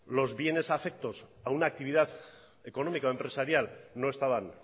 los bienes afectos a una actividad económica o empresarial no estaban